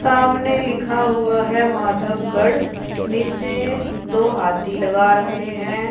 सामने लिखा हुआ है माधवगढ़ नीचे दो हाथी लगा रखे हैं।